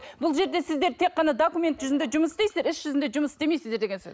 бұл жерде сіздер тек қана документ жүзінде жұмыс істейсіздер іс жүзінде жұмыс істемейсіздер деген сөз